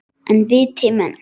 En viti menn!